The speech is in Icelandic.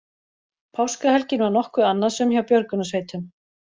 Páskahelgin var nokkuð annasöm hjá björgunarsveitum